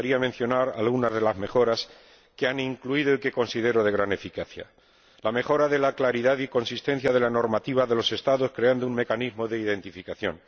Me gustaría mencionar algunas de las mejoras que se han incluido y que considero de gran eficacia la mejora de la claridad y consistencia de la normativa de los Estados mediante la creación de un mecanismo de identificación